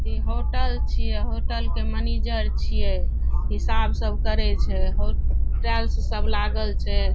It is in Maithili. इ होटल छीये होटल के मनिजर छीये हिसाब सब करे छै हो टाइल्स सब लागल छै।